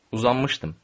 Uzanmışdım.